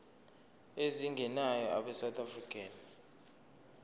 ezingenayo abesouth african